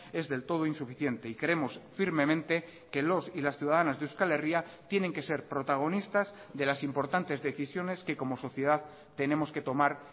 es del todo insuficiente y creemos firmemente que los y las ciudadanas de euskal herria tienen que ser protagonistas de las importantes decisiones que como sociedad tenemos que tomar